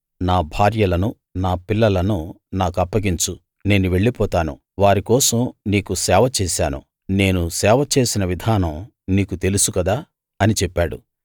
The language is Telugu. నా భార్యలను నా పిల్లలను నా కప్పగించు నేను వెళ్ళిపోతాను వారి కోసం నీకు సేవ చేశాను నేను సేవ చేసిన విధానం నీకు తెలుసు కదా అని చెప్పాడు